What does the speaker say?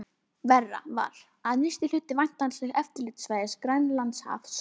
Verra var, að nyrsti hluti væntanlegs eftirlitssvæðis, Grænlandshaf, stóð